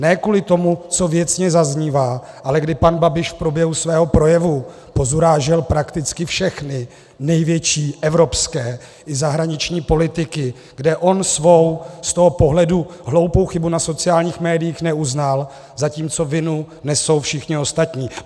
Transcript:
Ne kvůli tomu, co věcně zaznívá, ale kdy pan Babiš v průběhu svého projevu pozurážel prakticky všechny největší evropské i zahraniční politiky, kde on svou z toho pohledu hloupou chybu na sociálních médiích neuznal, zatímco vinu nesou všichni ostatní.